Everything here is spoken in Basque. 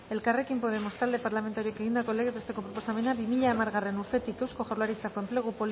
elkarrekin podemos talde parlamentarioak egindako legez besteko proposamena bi mila hamargarrena urtetik eusko jaurlaritzako enplegatu